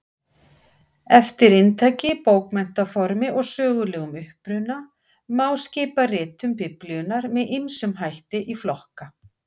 Eftir inntaki, bókmenntaformi og sögulegum uppruna má skipa ritum Biblíunnar með ýmsum hætti í flokka.